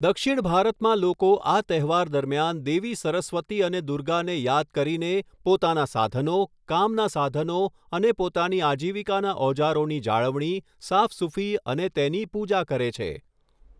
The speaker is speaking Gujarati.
દક્ષિણ ભારતમાં લોકો આ તહેવાર દરમિયાન દેવી સરસ્વતી અને દુર્ગાને યાદ કરીને પોતાનાં સાધનો, કામનાં સાધનો અને પોતાની આજીવિકાના ઓજારોની જાળવણી, સાફસૂફી અને તેની પૂજા કરે છે.